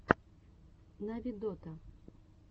нави дота